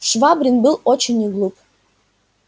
швабрин был очень не глуп